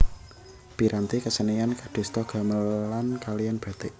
Piranti kesenian kadosta gamelan kaliyan batik